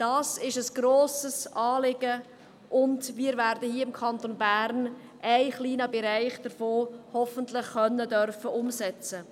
Dies ist ein grosses Anliegen, und im Kanton Bern werden wir hoffentlich einen kleinen Bereich davon umsetzen dürfen.